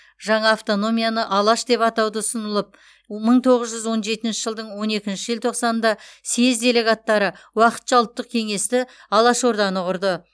жаңа автономияны алаш деп атауды ұсынылып мың тоғыз жүз он жетінші жылдың он екінші желтоқсанында съез делегаттары уақытша ұлттық кеңесті алаш орданы құрды